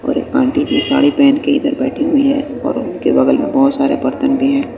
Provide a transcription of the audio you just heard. और एक आंटी जी साड़ी पहन के इधर बैठी हुई है और उनके बगल मैं बहुत सारे बर्तन भी हैं।